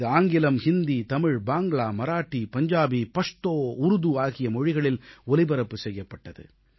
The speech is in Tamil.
இது ஆங்கிலம் ஹிந்தி தமிழ் பாங்க்ளா மராத்தி பஞ்சாபி பஷ்தோ உருது ஆகிய மொழிகளில் ஒலிபரப்பு செய்யப்பட்டது